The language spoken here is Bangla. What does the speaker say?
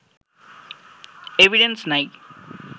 এভিডেন্স নাই